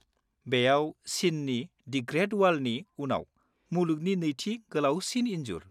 -बेयाव चिननि the great वालनि उनाव मुलुगनि नैथि गोलावसिन इन्जुर।